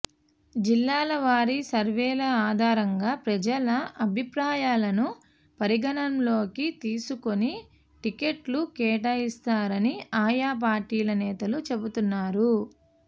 జిల్లాల వారీ సర్వేల ఆధారంగా ప్రజల అభిప్రాయాలను పరిగణనలోకి తీసుకుని టికెట్లు కేటాయిస్తారని ఆయా పార్టీల నేతలు చెబుతు న్నారు